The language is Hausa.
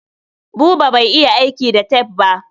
Buba bai iya aiki da tef ba.